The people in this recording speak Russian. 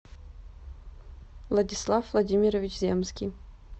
владислав владимирович земский